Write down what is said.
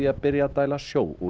að byrja að dæla sjó úr